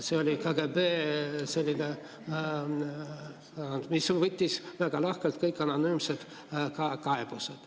See oli KGB selline, mis võttis väga lahkelt kõik anonüümsed kaebused.